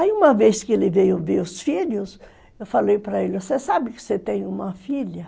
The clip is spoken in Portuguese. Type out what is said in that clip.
Aí uma vez que ele veio ver os filhos, eu falei para ele, você sabe que você tem uma filha?